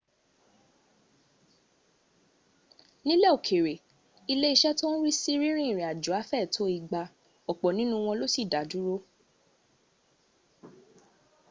nílẹ̀ òkère lé ìṣe tó ń rí sí rínrín ìrìnàjò afẹ tó igba. ọ̀pọ̀ nínú wọn ló sì dá dúró